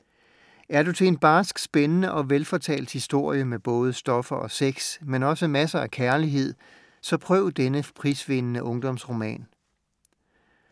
Er du til en barsk, spændende og velfortalt historie med både stoffer og sex, men også masser af kærlighed, så prøv denne prisvindende ungdomsroman.